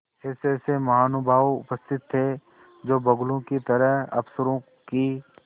ऐसेऐसे महानुभाव उपस्थित थे जो बगुलों की तरह अफसरों की